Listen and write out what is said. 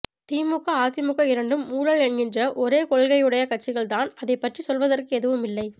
திமுக அதிமுக இரண்டும் ஊழல் என்கின்ற ஒரே கொள்கையுடைய கட்சிகள் தான் அதைப் பற்றி சொல்வதற்கு எதுவுமில்லை